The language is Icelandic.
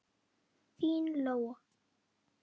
Þín Lóa.